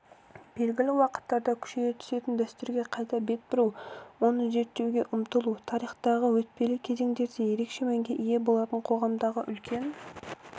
белгілі уақыттарда күшейе түсетін дәстүрге қайта бет бұру оны зерттеуге ұмтылу тарихтағы өтпелі кезеңдерде ерекше мәнге ие болатын қоғамдағы үлкен